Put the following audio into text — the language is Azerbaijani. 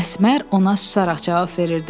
Əsmər ona susaraq cavab verirdi.